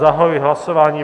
Zahajuji hlasování.